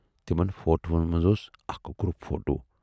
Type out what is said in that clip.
تِمن فوٹوہَن منز اوس اکھ گروٗپ فوٹو۔